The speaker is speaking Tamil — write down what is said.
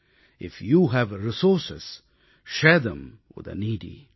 if you have resource share them with the Needi